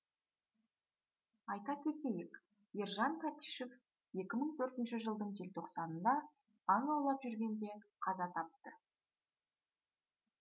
айта кетейік ержан тәтішев екі мың төртінші жылдың желтоқсанында аң аулап жүргенде қаза тапты